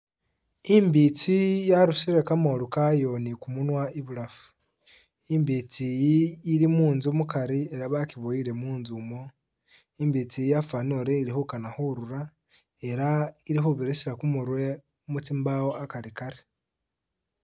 I'mbitsi yarusile kamoolu kayo ni kumunwa ibulafu. Imbitsi iyi ili munzu mukari ela bakiboboyile munzu umu, i'mbitsi iyi yafwanile uri ili khukana khurura ela ili khubirisa kumurwe mutsimbawo akarikari